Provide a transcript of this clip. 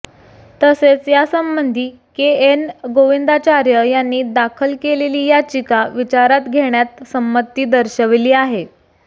तसेच यासंबंधी K N Govindacharya यांनी दाखल केलेली याचिका विचारात घेण्यात संमती दर्शविली आहे